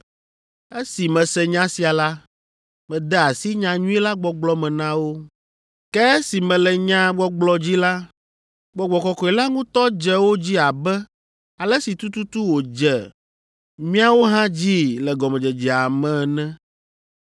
“Esi mese nya sia la, mede asi nyanyui la gbɔgblɔ me na wo. Ke esi mele nyaa gbɔgblɔ dzi la, Gbɔgbɔ Kɔkɔe la ŋutɔ dze wo dzi abe ale si tututu wòdze míawo hã dzii le gɔmedzedzea ene.